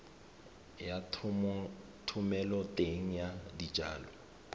ya thomeloteng ya dijalo le